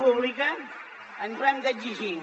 pública ens ho hem d’exigir